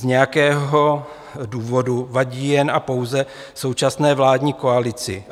Z nějakého důvodu vadí jen a pouze současné vládní koalici.